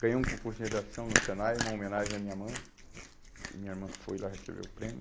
Ganhei um concurso de redação no Senai, uma homenagem à minha mãe, porque minha irmã foi lá receber o prêmio.